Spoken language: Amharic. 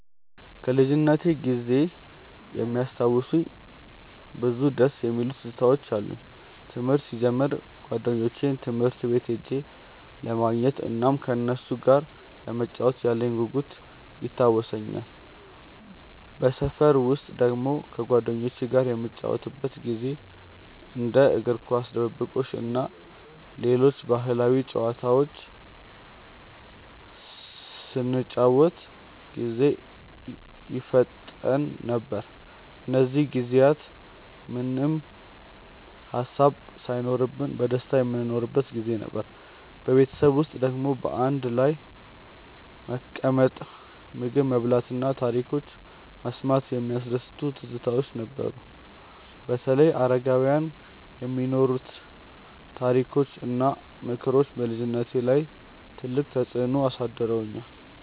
ከልጅነቴ ጊዜ የሚያስታውሱኝ ብዙ ደስ የሚሉ ትዝታዎች አሉኝ። ትምህርት ሲጀምር ጓደኞቼን ትምህርት ቤት ሄጄ ለማግኘት እናም ከነሱ ጋር ለመጫወት ያለኝ ጉጉት ይታወሰኛል። በሰፈር ውስጥ ደግሞ ከጓደኞቼ ጋር የምንጫወትበት ጊዜ እንደ እግር ኳስ፣ ድብብቆሽ እና ሌሎች ባህላዊ ጨዋታዎች ስንጫወት ጊዜ ይፈጠን ነበር። እነዚህ ጊዜያት ምንም ሃሳብ ሳይኖርብን በደስታ የምንኖርበት ጊዜ ነበር። በቤተሰብ ውስጥ ደግሞ በአንድ ላይ መቀመጥ፣ ምግብ መብላት እና ታሪኮች መስማት የሚያስደስቱ ትዝታዎች ነበሩ። በተለይ አረጋውያን የሚነግሩት ታሪኮች እና ምክሮች በልጅነቴ ላይ ትልቅ ተፅዕኖ አሳድረዋል።